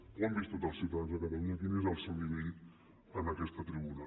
ho han vist tots els ciutadans de catalunya quin és el seu nivell en aquesta tribuna